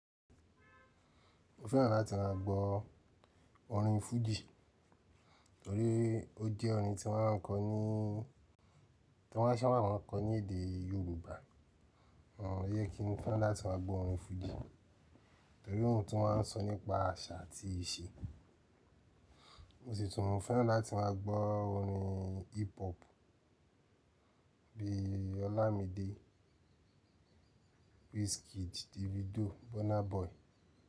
Mo fẹ́ràn láti máa gbọ́ orin fújì torí ó jẹ́ orin tí wọ́n ń sápàkó ní èdè Yorùbá. Òún yẹ kí n fẹ́ràn láti máa gbọ́ orin fújì torí òún tún máa ń sọ nípa àṣà àti ìṣe. Ó sì tún mo fẹ́ràn láti máa gbọ́ orin hip hop bíi Olamide, Wizkid, Davido, Burna Boy.